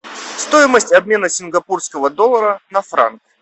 стоимость обмена сингапурского доллара на франк